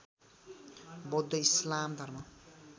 बौद्ध इस्लाम धर्म